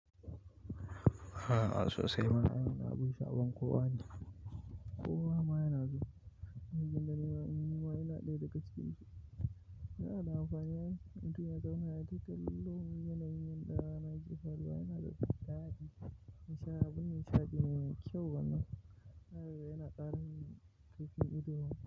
Aa sosai ma ai wannan agunshi abun kowa ne kowa ma yana wajen da yawa manyan waye na ɗaya daga cikin shi. Yana da amfani ne, inda ya zama yayi ta tallo, yanayin ɗan adam jifarwa yana da kyau. Yana ban nishaɗi yana da kyau wannan. Haryasa yana ƙara yin tafiya ido.